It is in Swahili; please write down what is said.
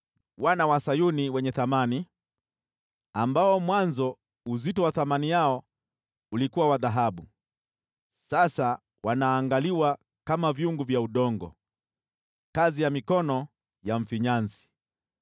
Wana wa Sayuni wenye thamani, ambao mwanzo uzito wa thamani yao ulikuwa wa dhahabu, sasa wanaangaliwa kama vyungu vya udongo, kazi ya mikono ya mfinyanzi!